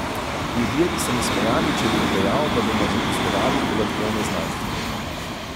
Ljudje bi se mi smejali, če bi jim dejal, da bomo zaposlovali podatkovne znanstvenike.